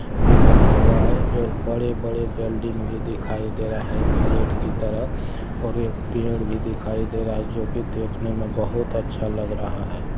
--भी बना हुआ है जो बड़े-बड़े बिल्डिंग भी दिखाई दे रहे फ्लैट की तरफ और एक पेड़ भी दिखाई दे रहा है जो की देखने में बहुत अच्छा लग रहा है।